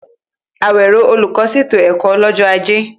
Awero, olùkọ́, ṣètò ẹ̀kọ́ lọ́jọ́ Ajé.